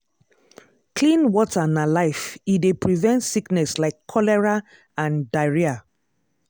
clean water na life e dey prevent sickness like cholera and diarrhea.